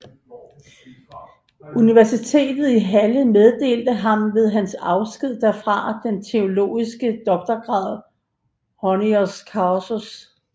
Universitetet i Halle meddelte ham ved hans afsked derfra den teologiske doktorgrad honoris causa